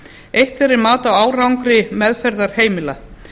eitt þeirra er mat á árangri meðferðarheimila